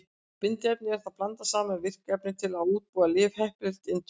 Bindiefninu er þá blandað saman við virka efnið til að útbúa lyf heppileg til inntöku.